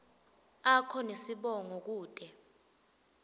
akho nesibongo kute